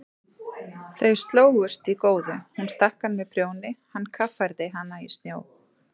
Þau slógust í góðu, hún stakk hann með prjóni, hann kaffærði hana í snjó.